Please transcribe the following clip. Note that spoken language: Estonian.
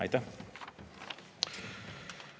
Aitäh!